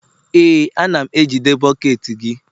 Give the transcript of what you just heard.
Ee, a na m ejide bọket gị